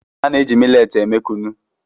A na-eji miletị eme Kunu.